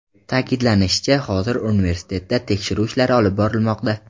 Ta’kidlanishicha, hozirda universitetda tekshiruv ishlari olib borilmoqda.